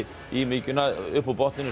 í mykjuna upp úr botninum